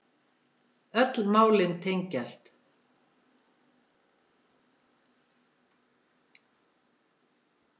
Öll málin tengjast